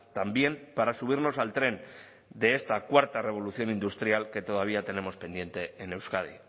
también para subirnos al tren de esta cuarta revolución industrial que todavía tenemos pendiente en euskadi